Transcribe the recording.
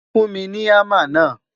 fún mí ní hamá na